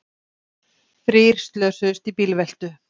Þrír slösuðust í bílveltu